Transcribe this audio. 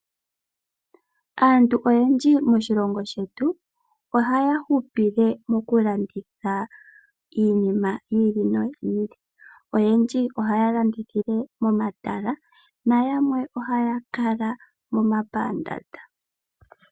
Aantu oyendji moshilongo shetu, ohaya hupile mokulanditha iinima yi ili noyi ili. Oyendji ohaya landithile momatala nayanwe ohaya kala momapandaanda.